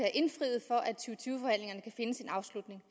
finde sin afslutning